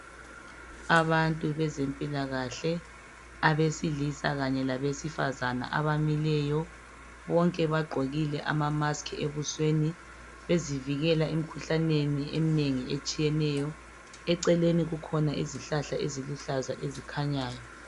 Abantu bezempilakahle abesilisa kanye labesifazana abamileyo bonke bagqokile amamask ebusweni bezivikela emkhuhlaneni emnengi etshiyeneyo. Eceleni kukhona izihlahla eziluhlaza ezikhanyayo.